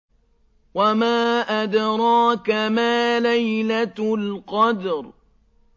وَمَا أَدْرَاكَ مَا لَيْلَةُ الْقَدْرِ